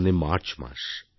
সামনে মার্চমাস